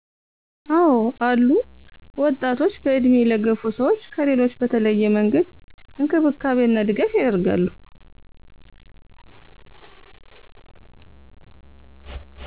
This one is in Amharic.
አወ አሉ፣ ወጣቶች በእድሜ ለገፉ ሰዎች ከሌሎች በተለየ መንገድ እንክብካቤ እና ድጋፍ ያደርጋሉ።